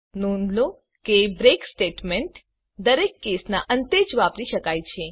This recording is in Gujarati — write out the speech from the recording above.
નોંધ લો કે બ્રેક સ્ટેટમેન્ટ દરેક કેસના અંતે જ વાપરી શકાય છે